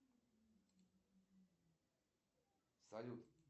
джой самая южная точка россии